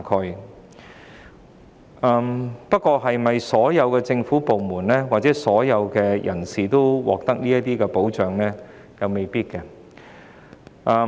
然而，並非所有政府部門或所有人士都為失明人士提供這份保障。